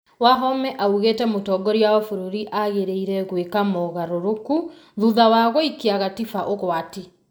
Wahome oigĩte mũtongoria wa bũrũri agĩrĩire gwĩka mogarũrũku thutha wa gũĩkia gatiba ũgwati